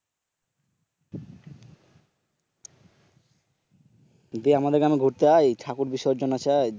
দিয়ে আমাদের এখানে ঘুরতে আয় ঠাকুর বিসর্জন আছে আজ